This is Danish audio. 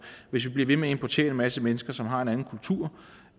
hvis vi bliver ved med at importere en masse mennesker som har en anden kultur